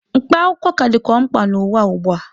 Mkpa akwụkwọ ka dịkwa mkpa n'ụwa ugbua.